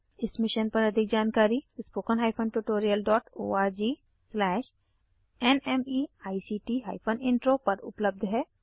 इस मिशन पर अधिक जानकारी httpspoken tutorialorgNMEICT Intro पर उपलब्ध है